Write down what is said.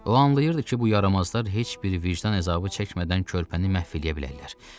O anlayırdı ki, bu yaramazlar heç bir vicdan əzabı çəkmədən körpəni məhv eləyə bilərlər.